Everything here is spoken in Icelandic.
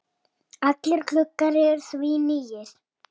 Alveg eins og þú sjálf.